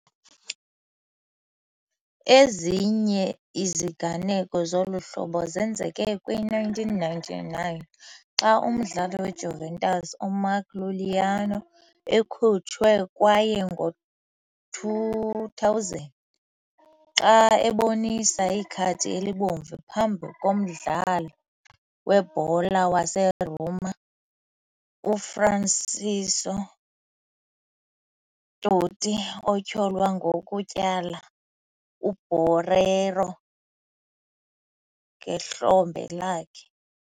Ezinye iziganeko zolu hlobo zenzeke kwi-1999, xa umdlali weJuventus uMark Iuliano ekhutshwe, kwaye ngo -2000, xa ebonisa ikhadi elibomvu phambi komdlali webhola waseRoma uFrancesco Totti, otyholwa ngokutyhala uBorriello ngehlombe lakhe.